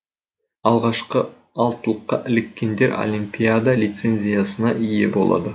алғашқы алтылыққа іліккендер олимпиада лицензиясына ие болады